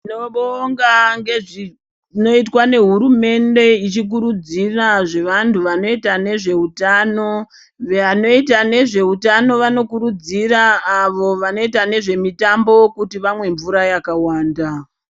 Tinobonga ngezvinoitwa nehurumende ichikurudzira zvevantu vanoita nezveutano. Vanoita nezveutano vanokurudzira avo vanoita nezvemitambo kuti vamwe mvura yakawanda.